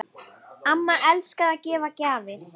Amma elskaði að gefa gjafir.